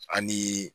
Ani